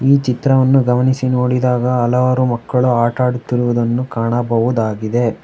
ಈ ಚಿತ್ರವನ್ನು ಗಮನಿಸಿ ನೋಡಿದಾಗ ಹಲವಾರು ಮಕ್ಕಳು ಆಟ ಆಡುತ್ತಿರುವುದನ್ನು ಕಾಣಬಹುದಾಗಿದೆ.